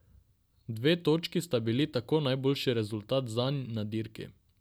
Dve točki sta bili tako najboljši rezultat zanj na dirki.